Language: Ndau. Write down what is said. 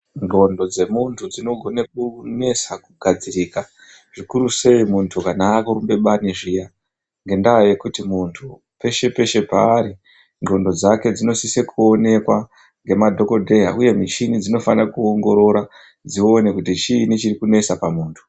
Ndxondo dzemuntu dzinogone kunesa kugadzirika zvikurusei muntu kana aakurumbe bani zviya ngendaa yekuti muntu peshe peshe paari ndxondo dzake dzinosise kuonekwa ngemadhokodheya uye muchini dzinofana kuongorora dzione kuti chiini chirikunesa pamuntu.